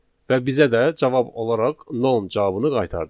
Və bizə də cavab olaraq non cavabını qaytardı.